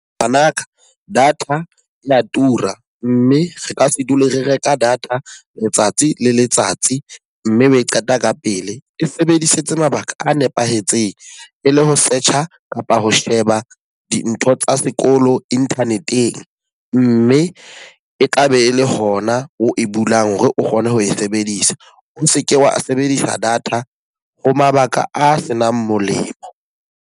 Ngwanaka, data ya tura. Mme re ka se dule re reka data letsatsi le letsatsi mme o e qeta ka pele. E sebedisetse mabaka a nepahetseng. E le ho search-a kapa ho sheba dintho tsa sekolo internet-eng. Mme e tla be e le hona o e bulang hore o kgone ho e sebedisa. O seke wa sebedisa data ho mabaka a senang molemo.